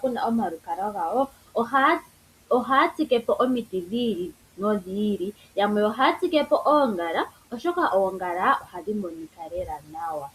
puna omalukalwa gawo ohaya tsike po omiti dhi ili nodhi ili, yamwe ohaya tsike po oongala, oshoka oongala ohadhi monika lela nawa.